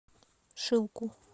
шилку